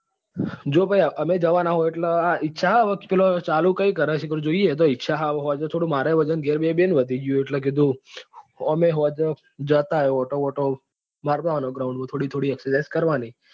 જો ભાઈ અમે જવા ના છો એટલે હવે ઈચ્છા હે હવે પેલો ચાલુ કઈ કરે હ જોઈએ એતો ઈચ્છા હ હવે સાંજે પેલો મારે એ વજન ગેર બેહી બેહી ને વધી ગયું હે એટલે કીધું અમે સાંજે જતાએ અને આંટો વંટો મારતો આવવા નો ground માં થોડી થોડી exercise કરવા ની.